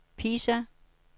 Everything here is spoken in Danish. Pisa